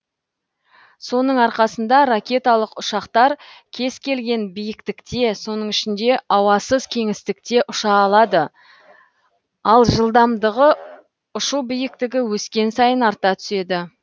соның арқасында ракеталық ұшақтар кез келген биіктікте соның ішінде ауасыз кеңістікте ұша алады ал жылдамдығы ұшу биіктігі өскен сайын арта түседі